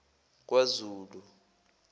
kwazulu